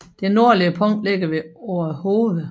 Det nordligste punkt ligger ved Orehoved